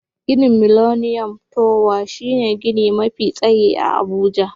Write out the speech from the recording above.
Ginin Miliniyom towa shine gini mafi tsayi a Abuja.